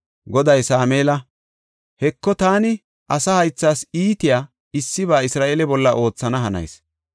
Goday Sameela, “Heko, taani asa haythas iitiya issiba Isra7eele bolla oothana hanayis.